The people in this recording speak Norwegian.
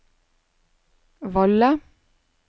Valle